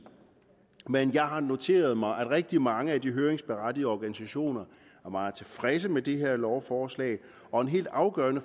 men jeg har jo noteret mig at rigtig mange af de høringsberettigede organisationer er meget tilfredse med det her lovforslag og en helt afgørende